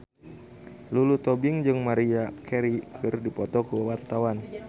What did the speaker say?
Lulu Tobing jeung Maria Carey keur dipoto ku wartawan